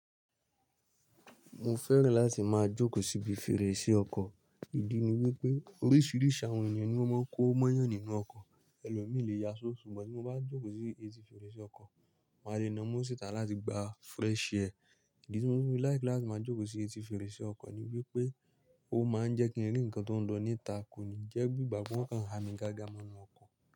Mo fẹ́ràn láti máa jókòó síbi fèrèsé ọkọ̀, ìdí ni wípé oríṣiríṣi àwọn ènìyàn ni ó máa ń kó mọ́yàn nínú ọkọ̀, ẹlòmíì lé yá ṣó, ṣùgbọ́n bí mo bá jókòó sí etí fèrèsé ọkọ̀, màá lè na mú síta láti gba fresh air. Ìdí tí mo fẹ́ràn láti máa jókòó sí etí fèrèsé ọkọ̀ ni wípé ó máa ń jẹ́ kí n rí ǹkan tó ń lọ níta, kò ní jẹ́ gbi ígba fún ọkàn, ha mi gágá mọ́ inú ọkọ̀.